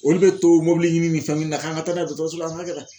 Olu bɛ to mobili ɲini ni fɛn ɲini na k'an ka taa n;a ye dɔgɔtɔrɔso la an ka kɛ tan